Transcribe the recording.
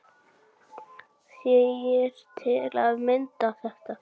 segir til að mynda þetta